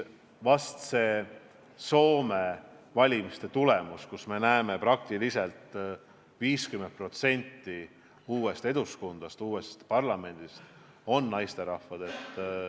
Vastne Soome valimiste tulemus on selline, et umbes 50% uuest Eduskuntast, uuest parlamendist on naisterahvad.